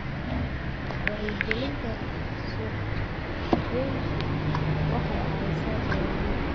Wacyigelinta suuqgeyntu waxay caawisaa beeralayda.